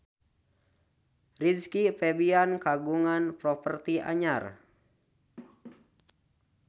Rizky Febian kagungan properti anyar